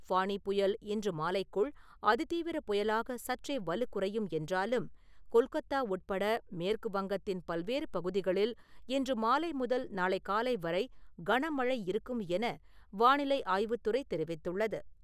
ஃபானி புயல் இன்று மாலைக்குள் அதிதீவிரப் புயலாக சற்றே வலுக்குறையும் என்றாலும், கொல்கொத்தா உட்பட மேற்கு வங்கத்தின் பல்வேறு பகுதிகளில் இன்று மாலை முதல் நாளை காலை வரை கனமழை இருக்கும் என வானிலை ஆய்வுத் துறை தெரிவித்துள்ளது.